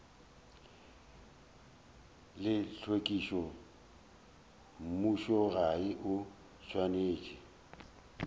la tlhwekišo mmušogae o swanetše